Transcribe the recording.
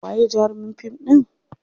Waye jarumin fim ɗin?